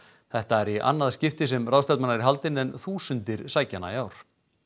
þetta er í annað skipti sem ráðstefnan er haldin þúsundir sækja hana í ár